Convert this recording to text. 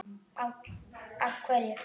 Páll: Af hverju?